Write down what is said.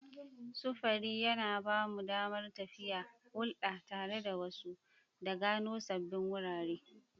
Sufuri yana ba mu damar tafiya, hulɗa tare da wasu, da gano sabbin wurare.